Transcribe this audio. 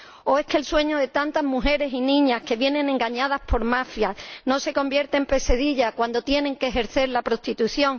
¿O es que el sueño de tantas mujeres y niñas que vienen engañadas por mafias no se convierte en pesadilla cuando tienen que ejercer la prostitución?